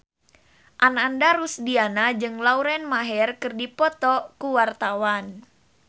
Ananda Rusdiana jeung Lauren Maher keur dipoto ku wartawan